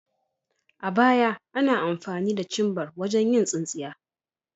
A baya, ana amfani da cimbar wajen yin tsinsinya.